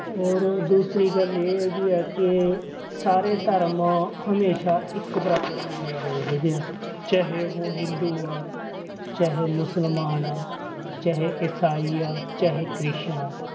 ਹੋਰ ਦੂਸਰੀ ਗੱਲ ਇਹ ਹੈਗੀ ਹੈ ਕਿ ਸਾਰੇ ਧਰਮ ਹਮੇਸ਼ਾ ਇੱਕ ਬਰਾਬਰ ਮੰਨੇ ਗਏ ਹੈਗੇ ਆ ਚਾਹੇ ਉਹ ਹਿੰਦੂ ਆ, ਚਾਹੇ ਮੁਸਲਮਾਨ ਆ ਚਾਹੇ ਇਸਾਈ ਆ ਚਾਹੇ ਕ੍ਰਿਸਚਨ ਆਂ।